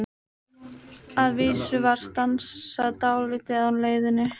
Að vísu var stansað dálítið á leiðinni.